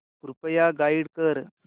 कृपया गाईड कर